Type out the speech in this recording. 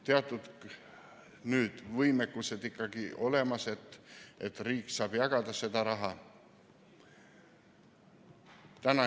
Teatud võimekus on nüüd ikkagi olemas, et riik saab seda raha jagada.